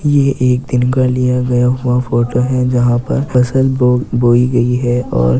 ये एक दिन का लिया गया फोटो है। जहां पर फसल बो बोई गई है और --